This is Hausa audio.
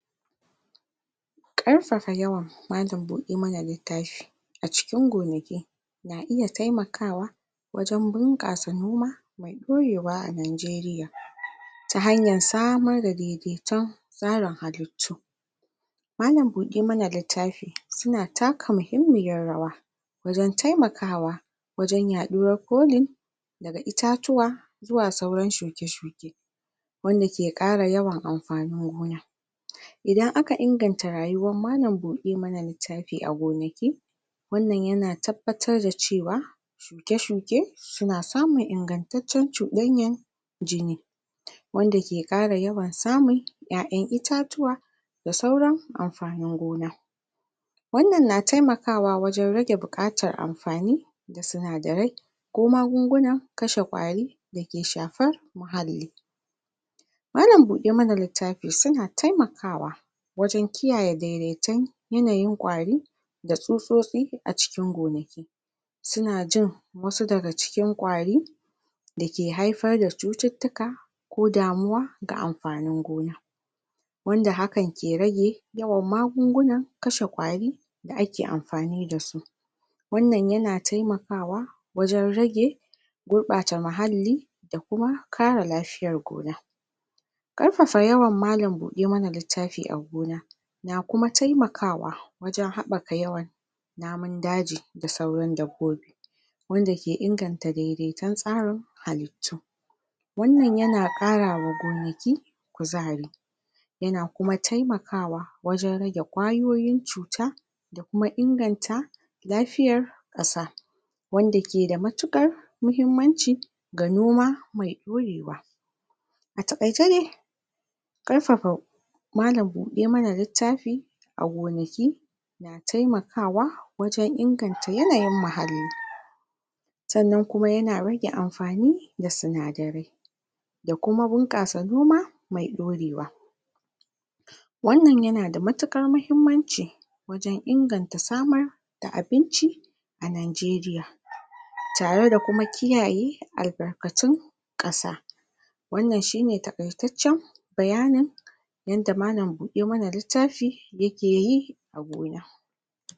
Ƙarfafa yawan malam- buɗe- ma- na -littafi a cikin gonaki na iya taimakawa wajen bunƙasa noma mai ɗorewa a Nigeria, ta hanyar samar da daidaiton tsarin halittu. Malam- buɗe - ma-na -littafi su na ta ka muhimmiyar rawa wajen taimakawa wajen yaɗuwar colin daga itatuwa zuwa sauran shuke-shuke, wanda ke ƙara yawan amfanin gona, idan aka ingata rayuwar malam-buɗe-ma-na-littafi a gonaki, wannan ya na tabbatar da ce wa shuke-shuke su na samun ingantaccen cuɗanyan jini, wanda ke ƙara yawan samun 'ya'yan itatuwa da sauran amfanin gona. Wannan na taimakawa wajen rage buƙatar amfani da sinadarai, ko magungunan kashe ƙwari da ke shafar muhalli, Malam-buɗe-ma-na-littafi su na taimakawa wajen kiyaye daidaiton yanayin ƙwari, da tsutsotsi a cikin gonaki, su na jin wasu daga cikin ƙwari da ke haifar da cututtuka ko damuwa ga amfanin gona, wanda hakan ke rage yawan magungunan kashe ƙwari da ake amfani da su. Wannan ya na taimakawa wajen rage gurɓata muhalli da kuma kare lafiyar gona. Ƙarfafa yawan malam-buɗe-ma-na-littafi a gona na kuma taimakawa wajen haɓaka yawan namun-daji da sauran dabbobi, wanda ke inganta daidaiton tsarin halittu, wannan ya na ƙarawa gonaki kuzari, ya na kuma taimakawa wajen rage ƙwayoyin cuta da kuma inganta lafiyar ƙasa, wanda ke da matuƙar muhimmanci ga noma mai ɗorewa. A taƙaice dai ƙarfafa malam-buɗe-ma-na-littafi a gonaki na taimakawa wajen inganta yanayin muhalli, sannan kuma ya na rage amfani da sinadarai, da kuma bunƙasa noma mai ɗorewa, wannan ya na da matuƙar mahimmanci wajen inganta samar abinci a Nigeria, tare da kuma kiyaye albarkatun ƙasa, wannan shine taƙaitaccen bayanin yanda malam-buɗe-ma-na-littafi ya ke yi a gona.